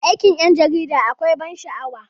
Aikin 'yan jarida akwai ban sha'awa.